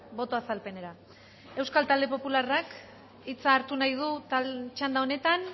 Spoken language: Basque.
boto azalpenera euskal talde popularrak hitza hartu nahi du txanda honetan